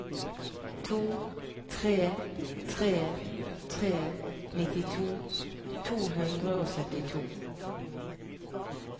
to tre tre tre nittito to hundre og syttito